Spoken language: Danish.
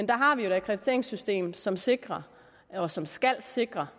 der har vi jo et akkrediteringssystem som sikrer og som skal sikre